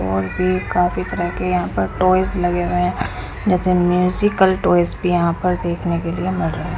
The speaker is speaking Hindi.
और भी काफ़ी तरह के यहां पर ट्वॉयज लगे हुए हैं जैसे म्यूजिकल ट्वॉयज भी यहां पर देखने के लिए मिल रहे--